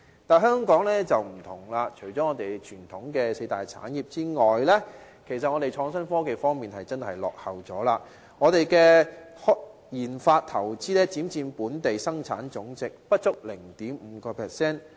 但是，香港不同，在傳統的四大產業之外，我們的創新科技真的墮後了，我們的研發投資只佔本地生產總值不足 0.5%。